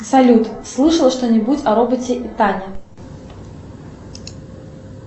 салют слышал что нибудь о роботе таня